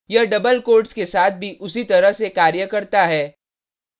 यह double quotes के साथ भी उसी तरह से कार्य करता है